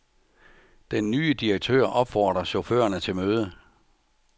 Den nye direktør opfordrer chaufførerne til møde.